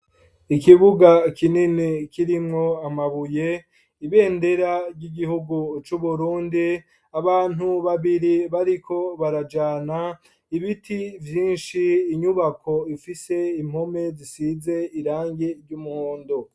Ikibuga kinini kirimwo amabuye ibendera ry'igihugu cu Burundi, abantu babiri bariko barajana ibiti vyinshi, inyubako ifise impume zisize irangi ry'umuhondo.